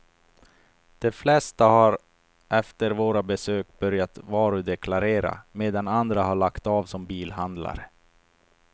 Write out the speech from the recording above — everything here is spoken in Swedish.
De flesta har efter våra besök börjat varudeklarera, medan andra har lagt av som bilhandlare.